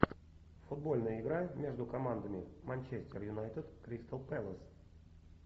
футбольная игра между командами манчестер юнайтед кристал пэлас